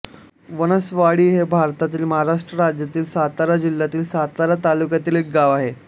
वनवासवाडी हे भारतातील महाराष्ट्र राज्यातील सातारा जिल्ह्यातील सातारा तालुक्यातील एक गाव आहे